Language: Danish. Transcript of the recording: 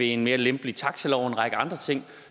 en mere lempelig taxalov og en række andre ting